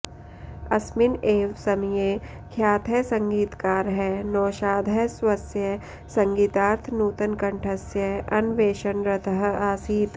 अस्मिन् एव समये ख्यातः सङ्गीतकारः नौशादः स्वस्य सङ्गीतार्थं नूतनकण्ठस्य अन्वेषणरतः आसीत्